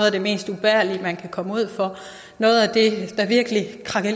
af det mest ubærlige man kan komme ud for noget af